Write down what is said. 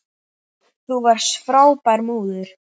Þú varst frábær móðir.